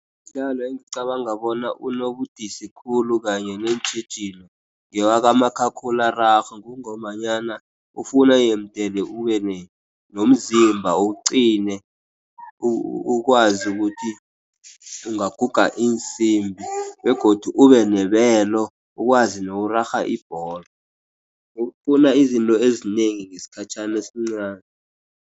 Umdlalo engicabanga bona unobudisi khulu, kanye neentjhijilo, ngewakamakhakhulararhwe, kungombanyana ufuna yemdele ubenomzimba ugcine, ukwazi ukuthi ungaguga iinsimbi, begodu ube nebelo ukwazi nokurarha ibholo ufuna izinto ezinengi ngesikhatjhana esincani.